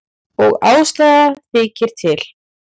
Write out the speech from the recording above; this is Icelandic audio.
Og ástæða þykir til.